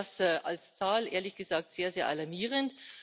Ich finde das als Zahl, ehrlich gesagt, sehr, sehr alarmierend.